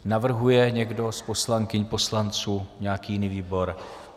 Navrhuje někdo z poslankyň, poslanců nějaký jiný výbor.